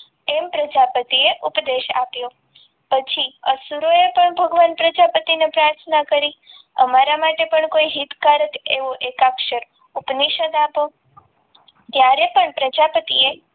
એમ પ્રજાપતિએ ઉપદેશ આપ્યો આસુરોએ પણ ભગવાન પ્રજાપતિને પ્રાર્થના કરી અમારા માટે પણ કોઈ હિતકારક એવો એકાક્ષર ઉપનિષદ આપો ત્યારે પણ પ્રજાપતિએ